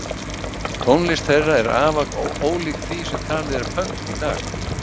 Tónlist þeirra er afar ólík því sem talið er pönk í dag.